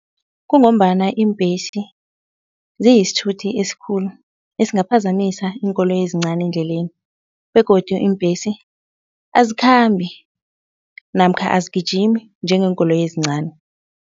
Kungombana iimbesi ziyisithuthi esikhulu esingaphazamisa iinkoloyi ezincani endleleni begodu iimbhesi azikhambi namkha azigijimi njengeenkoloyi ezincani.